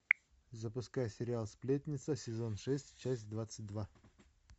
запускай сериал сплетница сезон шесть часть двадцать два